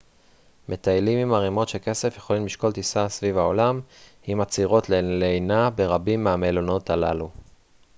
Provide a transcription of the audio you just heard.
מטיילים עם ערימות של כסף יכולים לשקול טיסה סביב העולם עם עצירות ללינה ברבים מהמלונות הללו